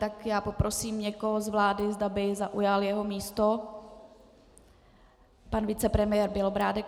Tak já poprosím někoho z vlády, zda by zaujal jeho místo - pan vicepremiér Bělobrádek.